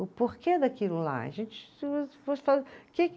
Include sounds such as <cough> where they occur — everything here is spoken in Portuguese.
O porquê daquilo lá? A gente <unintelligible>